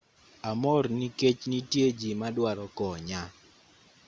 amor nikech nitie ji madwaro konya